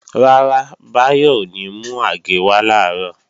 Rárá, Báyọ̀ ò ní mú àgé wá làárọ̀